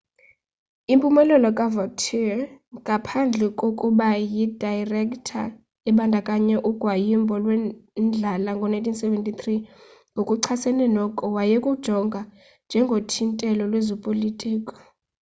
impumelelo kavautier ngaphandle kokuba yi dayirektha ibandakanya ugwayimbo lwendlala ngo-1973 ngokuchasene noko wayekujonga njengothintelo lwezopolitiko